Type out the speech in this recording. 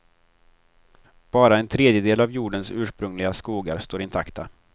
Bara en tredjedel av jordens ursprungliga skogar står intakta.